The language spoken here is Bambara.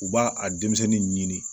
U b'a a denmisɛnnin ɲini